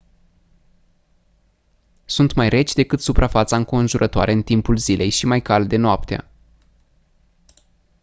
sunt mai reci decât suprafața înconjurătoare în timpul zilei și mai calde noaptea